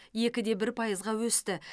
екі де бір пайызға өсті